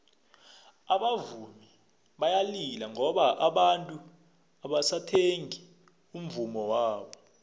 abavumi bayalila ngoba abantu abasathengi umvummo wabo